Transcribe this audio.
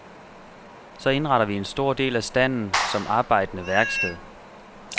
Så indretter vi en stor del af standen som arbejdende værksted.